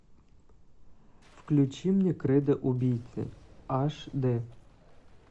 включи мне кредо убийцы аш д